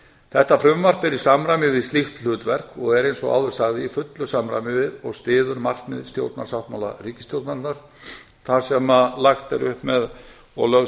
þetta frumvarp er í samræmi við slíkt hlutverk og er eins og áður sagði í fullu samræmi við og styður markmið stjórnarsáttmála ríkisstjórnarinnar þar sem lagt er upp með og lögð